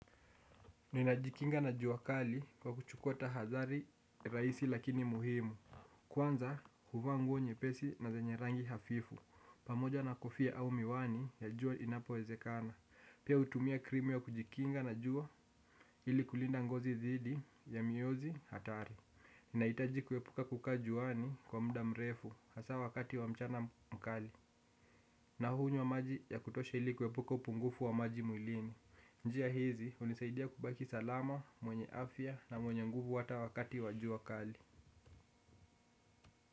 Ninajikinga na juakali kwa kuchukua tahatari raisi lakini muhimu. Kwanza huva nguo nye pesi na zenye rangi hafifu pamoja na kofia au miwani ya jua inapowezekana. Pia utumia krimu ya kujikinga na jua ili kulinda ngozi dhidi ya miozi hatari. Ninaitaji kuepuka kuka juani kwa mda mrefu hasa wakati wa mchana mkali. Nahunywa maji ya kutosha ili kuepuka upungufu wa maji muilini. Njia hizi, unisaidia kubaki salama, mwenye afya na mwenye nguvu hata wakati wajua kali.